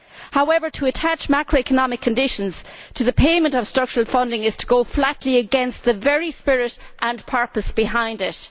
However, to attach macro economic conditions to the payment of structural funding is to go flatly against the very spirit and purpose behind it.